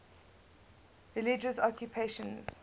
religious occupations